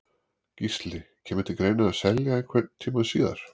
Gísli: Kemur til greina selja einhvern tímann síðar?